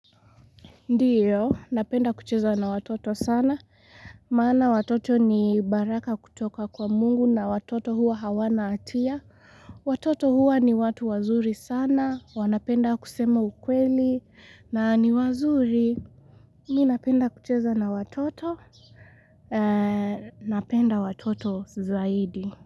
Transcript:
Ndiyo, napenda kucheza na watoto sana, maana watoto ni baraka kutoka kwa mungu na watoto huwa hawana hatia. Watoto huwa ni watu wazuri sana, wanapenda kusema ukweli na ni wazuri. Mi napenda kucheza na watoto, napenda watoto zaidi.